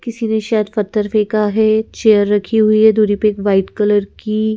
किसी ने शायद पत्थर फेंका है चेयर रखी हुई है दूरी पे एक वाइट कलर की--